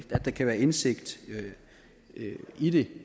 der kan være indsigt i det